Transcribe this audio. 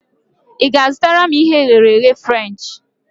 I ga-azụtara m ihe e ghere eghe Frenchi?